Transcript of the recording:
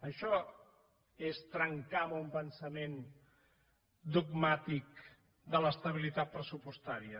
això és trencar amb un pensament dogmàtic de l’estabilitat pressupostària